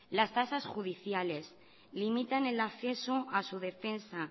las tasas judiciales limitan el accesos a su defensa